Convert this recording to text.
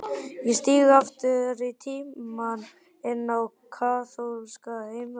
Ég stíg aftur í tímann, inn á kaþólska heimavist.